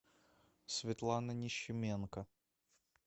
светлана нищеменко